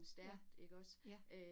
Ja, ja